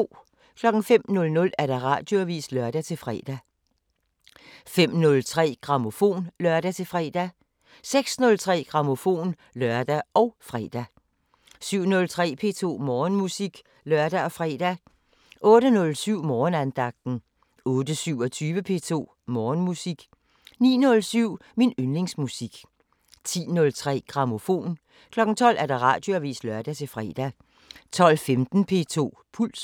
05:00: Radioavisen (lør-fre) 05:03: Grammofon (lør-fre) 06:03: Grammofon (lør og fre) 07:03: P2 Morgenmusik (lør og fre) 08:07: Morgenandagten 08:27: P2 Morgenmusik 09:07: Min yndlingsmusik 10:03: Grammofon 12:00: Radioavisen (lør-fre) 12:15: P2 Puls